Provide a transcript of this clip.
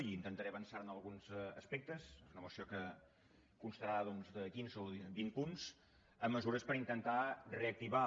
i intentaré avançar ne alguns aspectes és una moció que constarà doncs de quinze o vint punts amb mesures per intentar reactivar